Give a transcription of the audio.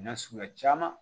Na suguya caman